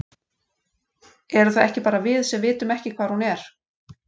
Erum það ekki bara við, sem vitum ekki hvar hún er?